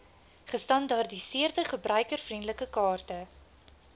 gestandaardiseerde gebruikervriendelike kaarte